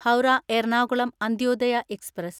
Howrah Ernakulam Antyodaya express